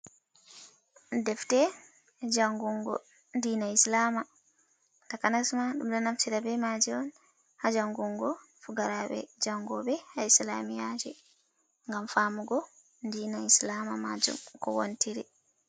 "Defte" jangungo dina islama takanasma ɗum ɗo naftira be maje on ha jangungo fukaraɓe jangoɓe ha islamiyaji ngam famugo dina islama majum ko watiri.